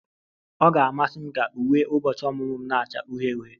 Ọ ga-amasị m ka uwe ụbọchị ọmụmụ m na-acha uhie uhie